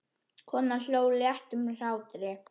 Konan hló léttum hlátri.